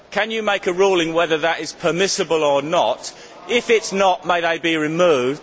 Can you make a ruling on whether that is permissible or not. If it is not, may they be removed?